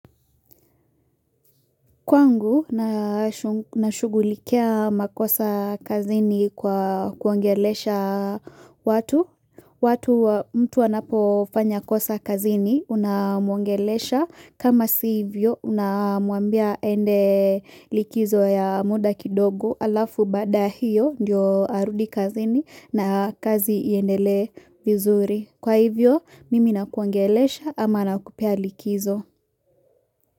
Kwangu, nashugulikia makosa kazini kwa kuongeleesha watu. Watu mtu anapo fanya kosa kazini, unamuangeleesha. Kama si hivyo, unamuambia ende likizo ya muda kidogu alafu baada hiyo, ndio arudi kazini na kazi iendelee vizuri. Kwa hivyo, mimi nakuongeleesha ama nakupea likizo.